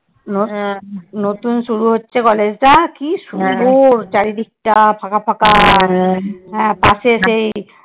নতুন শুরু হচ্ছে college টা কি সুন্দর চারিদিকটা ফাঁকা ফাঁকা। হ্যাঁ পাশে সেই